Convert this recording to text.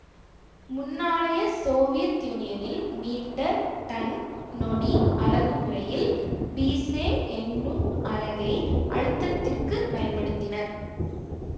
முன்னாளைய Soviet யூனியனில் metre tonne நொடி அலகுமுறையில் பீசே என்னும் அலகை அழுத்தத்திற்குப் பயன்படுத்தினர்